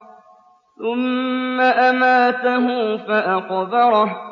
ثُمَّ أَمَاتَهُ فَأَقْبَرَهُ